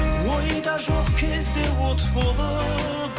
ойда жоқ кезде от болып